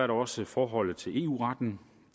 der også forholdet til eu retten